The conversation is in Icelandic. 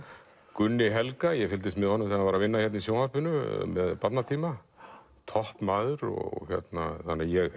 Gunni Helga ég fylgdist með honum þegar hann var að vinna hérna í sjónvarpinu toppmaður ég